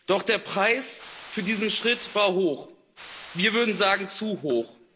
Doch der Preis für diesen Schritt war hoch wir würden sagen, zu hoch.